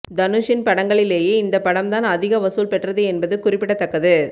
தனுஷின் படங்களிலேயே இந்தப் படம் தான் அதிக வசூல் பெற்றது என்பது குறிப்பிடத்தக்கது